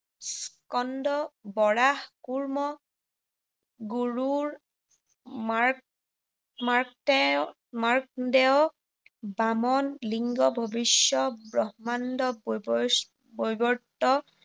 স্কন্দ, বৰাহ, কুৰ্ম, গৰুড়, মাৰ্ক, মাৰ্কটেয়, মাৰ্কদেয়, বামণ, লিংগ, ভৱিষ্য, ব্ৰহ্মাণ্ড,